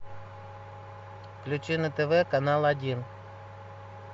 включи на тв канал один